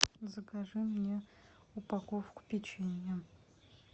закажи мне упаковку печенья